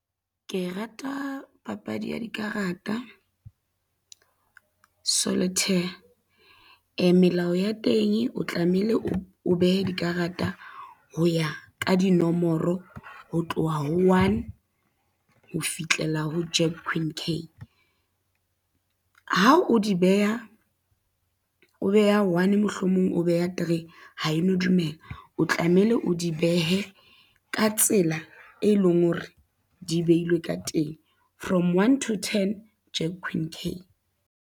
Ke rata papadi ya dikarata, solitaire. Melao ya teng o tlamehile o behe dikarata ho ya ka dinomoro ho tloha ho one ho fihlela ho Jack, Queen, K. Ha o di beha, o beha one mohlomong o beha three, ha e no dumela, o tlamehile o di behe ka tsela, e leng hore di behilwe ka teng, from one to ten, Jack, Queen, K.